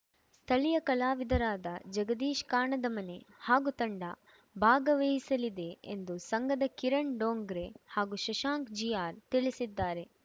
ಸ್ಥಳೀಯ ಕಲಾವಿದರಾದ ಜಗದೀಶ್‌ ಕಣದಮನೆ ಹಾಗೂ ತಂಡ ಭಾಗವಹಿಸಲಿದೆ ಎಂದು ಸಂಘದ ಕಿರಣ್‌ ಡೋಂಗ್ರೆ ಹಾಗೂ ಶಶಾಂಕ ಜಿಆರ್‌ ತಿಳಿಸಿದ್ದಾರೆ